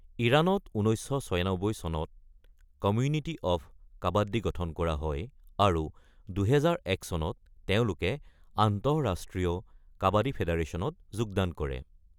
ইৰাণত ১৯৯৬ চনত community of kabaddi গঠন কৰা হয় আৰু ২০০১ চনত তেওঁলোকে আন্তঃৰাষ্ট্ৰীয় কাবাদ্দী ফেডাৰেচনত যোগদান কৰে।